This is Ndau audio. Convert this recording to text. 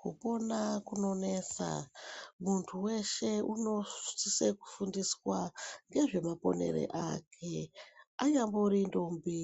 Kupona kunonesa muntu weshe unosise kufundiswa ngezvemaponere ake anyambori ndombi